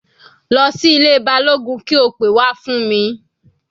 Lọ sí ilé Balógun kí o pe wá fún mi.